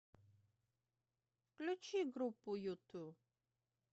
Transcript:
включи группу юту